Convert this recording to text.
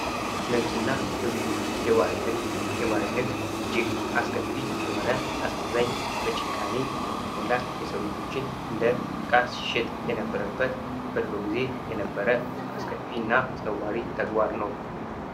ንግድ እና ግብይት፦ የባሪያ ንግድ ፦ የባሪያ ንግድ እጅግ አስከፊ የሆነ፣ እጅግ አሳዛኝ ፣ በጭካኔ የተሞላ የሠው ልጆች እንደ እቃ ሲሸጡበት የነበረ አስከፊና አስነዋሪ ተግባር ነው።